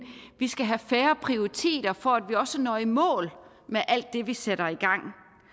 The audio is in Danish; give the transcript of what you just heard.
vi skal have færre prioriteter for at vi også når i mål med alt det vi sætter i gang